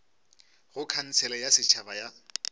go khansele ya setšhaba ya